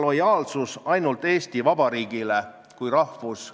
Heidy Purga küsis eelnõu algatajalt sunniraha ülemmäära suuruse põhjenduse kohta.